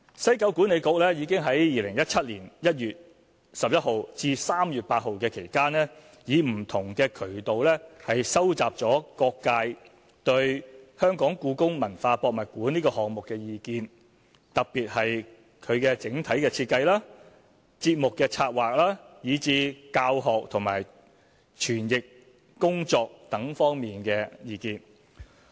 西九管理局已在2017年1月11日至3月8日期間以不同渠道收集各界對故宮館項目的意見，特別是其整體設計、節目策劃以至教學和詮釋工作等方面的意見。